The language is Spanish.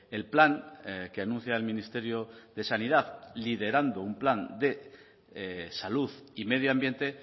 el plan que anuncia el ministerio de sanidad liderando un plan de salud y medio ambiente